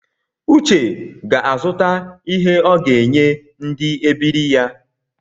Uche ga-azụta ihe ọ ga-enye ndi ebiri ya